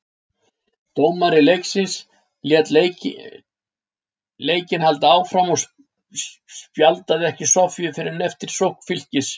Dómari leiksins lét leikinn halda áfram og spjaldaði ekki Soffíu fyrr en eftir sókn Fylkis.